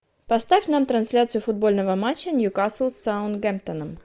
поставь нам трансляцию футбольного матча ньюкасл с саутгемптоном